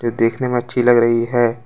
ये देखने में अच्छी लग रही है।